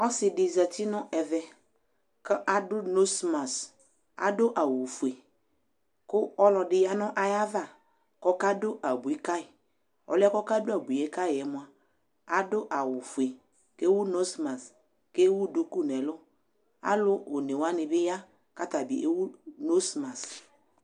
Asɩ dɩ zati nʋ ɛvɛ kʋ adʋ nosmas, adʋ awʋfue kʋ ɔlɔdɩ ya nʋ ayava kʋ ɔkadʋ abui ka yɩ Ɔlʋ yɛ kʋ ɔkadʋ abui yɛ ka yɩ yɛ mʋa, adʋ awʋfue kʋ ewu nosmas kʋ ewu duku nʋ ɛlʋ Alʋ one wanɩ bɩ ya kʋ ata bɩ ewu nosmas